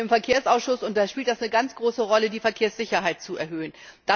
Ich bin im Verkehrsausschuss, und da spielt es eine ganz große Rolle, die Verkehrssicherheit zu erhöhen.